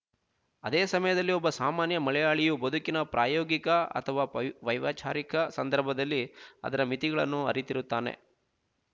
ಅದೇಸಮಯದಲ್ಲಿ ಒಬ್ಬ ಸಾಮಾನ್ಯ ಮಲಯಾಳಿಯು ಬದುಕಿನ ಪ್ರಾಯೋಗಿಕ ಅಥವಾ ವೈ ವೈವಚಾರಿಕ ಸಂದರ್ಭದಲ್ಲಿ ಅದರ ಮಿತಿಗಳನ್ನು ಅರಿತಿರುತ್ತಾನೆ